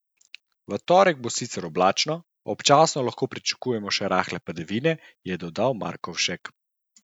V torek bo sicer oblačno, občasno lahko pričakujemo še rahle padavine, je dodal Markovšek.